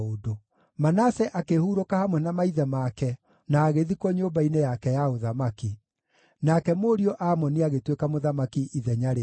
Manase akĩhurũka hamwe na maithe make na agĩthikwo nyũmba-inĩ yake ya ũthamaki. Nake mũriũ Amoni agĩtuĩka mũthamaki ithenya rĩake.